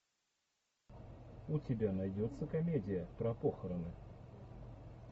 у тебя найдется комедия про похороны